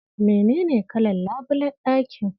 Menene kalar labulayen ɗakin?